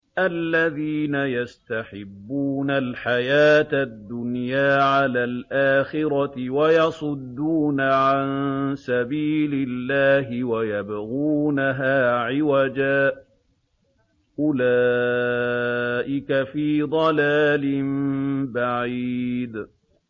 الَّذِينَ يَسْتَحِبُّونَ الْحَيَاةَ الدُّنْيَا عَلَى الْآخِرَةِ وَيَصُدُّونَ عَن سَبِيلِ اللَّهِ وَيَبْغُونَهَا عِوَجًا ۚ أُولَٰئِكَ فِي ضَلَالٍ بَعِيدٍ